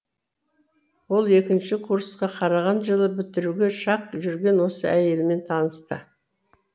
ол екінші курсқа қараған жылы бітіруге шақ жүрген осы әйелімен танысты